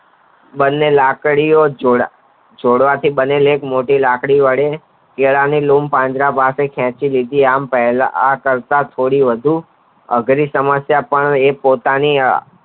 બંને લાકડી ઓ જોડા જોડાવાથી એક મોટી લાકડી વડે કેળાની લૂમ પાંજરા પાસે ખેંચી લીધી આમ પહેલા આ કલ્પ થોડી વધુ અઘરી સમસ્યા પણ અહીં પોતાની